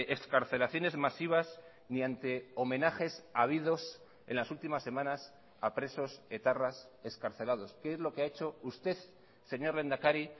excarcelaciones masivas ni ante homenajes habidos en las últimas semanas a presos etarras excarcelados que es lo que ha hecho usted señor lehendakari